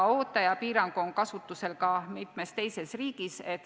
Ootaja piirang on kasutusel ka mitmes teises riigis.